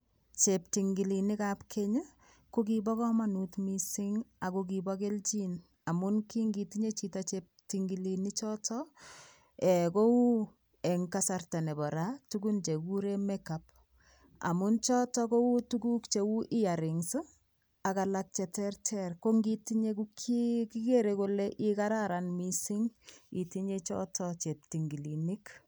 Cheptingilenikab keny ii, ko kibokamanut mising ago kibo keljin. Amun ki ngitinye chito cheptingilinichoto, kou eng kasarta nebo ra tugun chekiguren make-up, amu choto kou tuguk cheu earings ak alak cheterter. Ko ngitinye ko kigigere kole igaran kot mising itinye choto cheptingilinik.